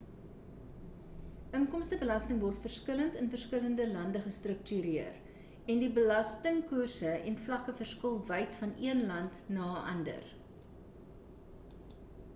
inkomstebelasting word verskillende in verskillende lande gestruktureer en die belastingkoerse en vlakke verskil wyd van een land na 'n ander